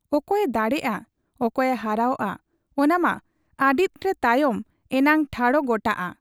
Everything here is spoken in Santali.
ᱚᱠᱚᱭᱮ ᱫᱟᱲᱮᱜ ᱟ ᱚᱠᱚᱭᱮ ᱦᱟᱨᱟᱣᱜ ᱟ ᱚᱱᱟᱢᱟ ᱟᱹᱰᱤᱫᱱ ᱛᱟᱭᱚᱢ ᱮᱱᱟᱝ ᱴᱷᱟᱲᱚᱜ ᱜᱚᱴᱟᱜ ᱟ ᱾